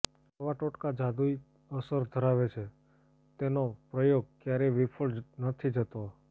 આવા ટોટકા જાદૂઈ અસર ધરાવે છે તેનો પ્રયોગ ક્યારેય વિફળ નથી જતો